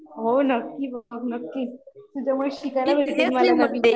हो नक्की बघ नक्की, तुझ्यामुळे शिकायला भेटेल मला